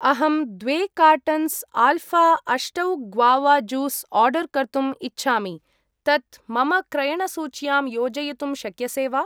अहं द्वे cartons Alpha अष्टौ ग्वावा ज्यूस् आर्डर् कर्तुम् इच्छामि, तत् मम क्रयणसूच्यां योजयितुं शक्यसे वा?